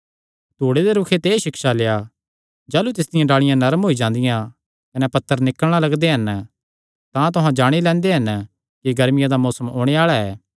धूड़े दे रूखे ते एह़ सिक्षा लेआ जाह़लू तिसदियां डाल़िआं नरम होई जांदियां कने पत्तर निकल़णा लगदे हन तां तुहां जाणी लैंदे हन कि गर्मिया दा मौसम ओणे आल़ा ऐ